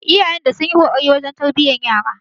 Iyayen da sunyi kokari wurin tarbiyan yara